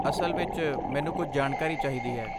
ਅਸਲ ਵਿੱਚ, ਮੈਨੂੰ ਕੁਝ ਜਾਣਕਾਰੀ ਚਾਹੀਦੀ ਹੈ।